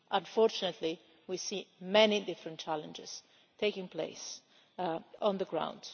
Unfortunately, we see many different challenges taking place on the ground.